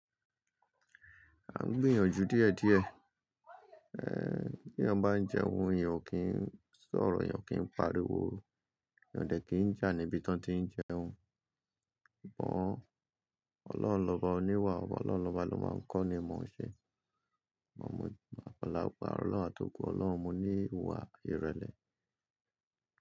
A ń gbìyànjú díẹ̀ díẹ̀. Bí èèyàn bá ń jẹun, èèyàn ò kí ń sọ̀rọ̀, èèyàn kìí pariwo, èèyàn o dẹ̀ ki n jà níbi tán tí í ń jẹun. Ọlọ́run lọ́ba oníwà, ọba Ọlọ́run ló máa ń kọ́ ni mọ̀ ń ṣe. Mọ̀ mọ Àpàlà pa Ọlọ́run àti òkú Ọlọ́run mú ní ìwà ìrẹ̀lẹ̀